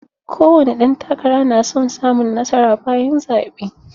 Ko wani ɗan takara na son samun nasara bayan zaɓe.